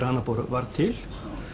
á annað borð var til